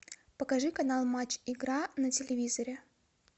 покажи канал матч игра на телевизоре